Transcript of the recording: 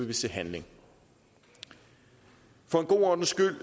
vi se handling for god ordens skyld